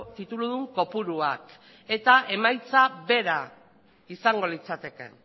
tituludun kopuruak eta emaitza bera izango litzateke